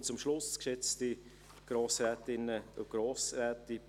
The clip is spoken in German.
Ich komme zum Schluss, geschätzte Grossrätinnen und Grossräte: